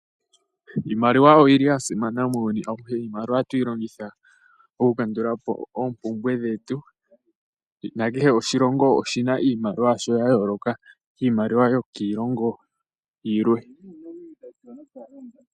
Iimaliwa oyili ya simana muuyuni auhe. Iimaliwa ohatu yi longitha oku kandulapo oompumbwe dhetu. Kehe oshilongo oshina iimaliwa yasho ya yooloka kiimaliwa yokiilongo yilwe.